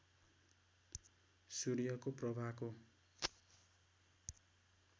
सूर्यको प्रभाको